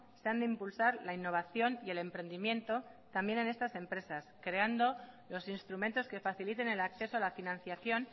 se han de impulsar la innovación y el emprendimiento también en estas empresas creando los instrumentos que faciliten el acceso a la financiación